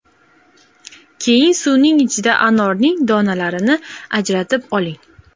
Keyin suvning ichida anorning donalarini ajratib oling.